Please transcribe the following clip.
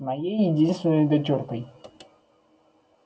с моей единственной дочуркой